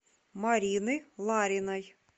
марины лариной